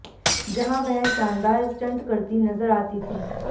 जहां वह शानदार स्टंट करती नजर आती थीं